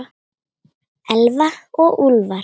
Elfa og Úlfar.